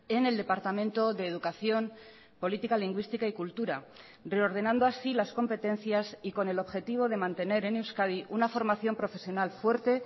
en el departamento de educación política lingüística y cultura reordenando así las competencias y con el objetivo de mantener en euskadi una formación profesional fuerte